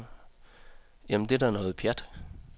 Jamen, det er da noget pjat.